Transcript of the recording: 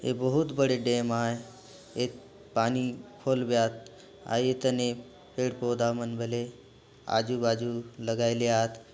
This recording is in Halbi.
ये बहुत बड़े डेम आय ए पानी फूल बेहात अउ एतने पेड़ पौधा मन बले आजू बाजू लगाईले आत।